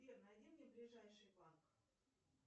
сбер найди мне ближайший банк